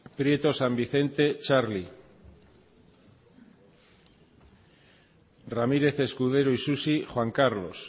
prieto san vicente txarli quiroga cia arantza ramírez escudero isusi juan carlos